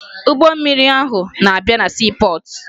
Ụgbọ mmiri ahụ na-abịa na siipọọtụ